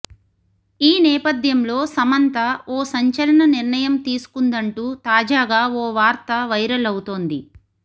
ఈ నేపథ్యంలో సమంత ఓ సంచలన నిర్ణయం తీసుకుందంటూ తాజాగా ఓ వార్త వైరల్ అవుతోంది